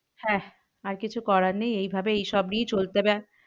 হ্যাঁ আর কিছু করার নেই এই ভাবে এই সব নিয়েই চলতে হবে।